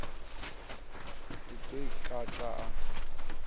ḽi ḓo i kata a